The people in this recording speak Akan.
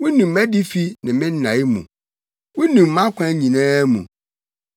Wunim mʼadifi ne me nnae mu; wunim mʼakwan nyinaa mu.